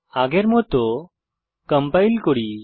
আগের মত কম্পাইল করি